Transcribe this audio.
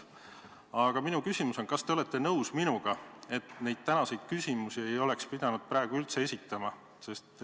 Aga minu küsimus on: kas te olete minuga nõus, et neid tänaseid küsimusi ei oleks pidanud praegu üldse esitama?